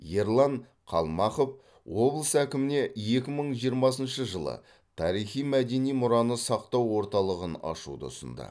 ерлан қалмақов облыс әкіміне екі мың жиырмасыншы жылы тарихи мәдени мұраны сақтау орталығын ашуды ұсынды